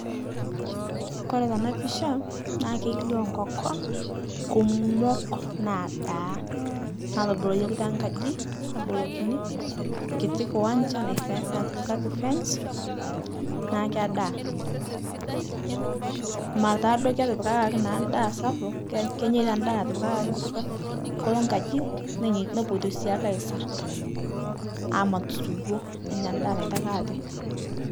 Kore tana pisha naa keilio nkokon kuumok nadaa naatoboloyuoki tenkaji, neboloki nkiti kuwanja naife napikaki fence ,naa kedaa, mara taaduo ketipikaki ndaa sapuk, keny kenyeita ndaa natipikaki ee nkolo nkaji nenye nepuoto siaki aisar amat suwo nenya ndaa naitaki ate.